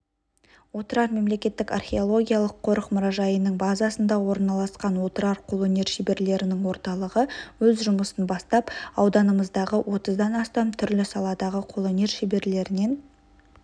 отырар мемлекеттік археологиялық қорық-мұражайының базасында орналасқан отырар қолөнер шеберлерінің орталығы өз жұмысын бастап ауданымыздағы отыздан астам түрлі саладағы қолөнер шеберлерінен